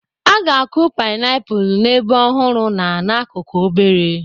A ga-akụ painiapulu n'ebe ọhụrụ na n'akụkụ obere.